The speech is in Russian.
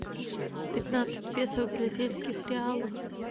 пятнадцать песо в бразильских реалах